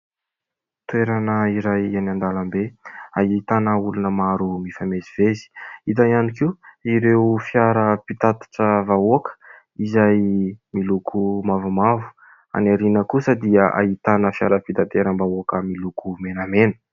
Toerana iray eny an-dalambe ahitana olona maro mifamezivezy, hita ihany koa ireo fiara pitatitra vahoaka izay miloko mavomavo. Any ariana kosa dia ahitana fiara fitateram-bahoaka miloko menamena